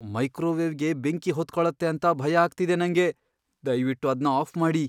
ಮೈಕ್ರೋವೇವ್ಗೆ ಬೆಂಕಿ ಹೊತ್ಕೊಳತ್ತೆ ಅಂತ ಭಯ ಆಗ್ತಿದೆ ನಂಗೆ. ದಯ್ವಿಟ್ಟು ಅದ್ನ ಆಫ್ ಮಾಡಿ.